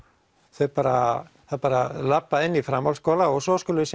þau bara bara labba inn í framhaldsskóla og svo skulum við